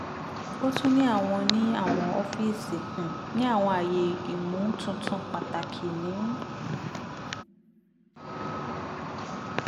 o tun ni awọn ni awọn ọfiisi um ni awọn aaye imotuntun pataki ni